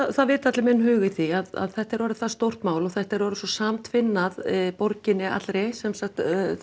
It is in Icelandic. það vita allir minn hug í því að þetta er orðið það stórt mál og þetta er orðið svo samtvinnað borginni allri sem sagt